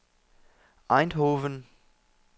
Eindhoven